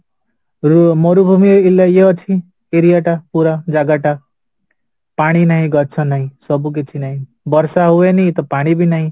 ମରୁଭୂମି ଇଏ ଅଛି area ଟା ପୁରା ଜାଗା ଟା ପାଣି ନାହିଁ ଗଛ ନାହିଁ ସବୁକିଛି ନାହିଁ ବର୍ଷା ହୁଏନି ତ ପାଣିବି ନାହିଁ